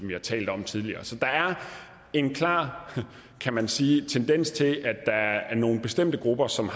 vi har talt om tidligere så der er en klar kan man sige tendens til at der er nogle bestemte grupper som